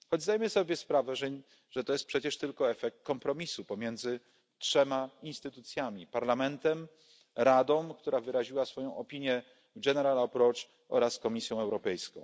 Choć zdajemy sobie sprawę, że jest to przecież tylko efekt kompromisu pomiędzy trzema instytucjami, Parlamentem, Radą, która wyraziła swoją opinię oraz Komisją Europejską.